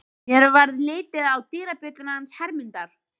Mér varð litið á dyrabjölluna hans Hermundar.